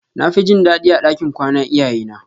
Nafi jin dadi a ɗakin kwana iyaye na.